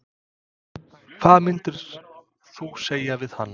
Hvað myndir þú segja við hann?